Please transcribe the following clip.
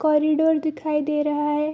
Corridor दिखाई दे रहा है।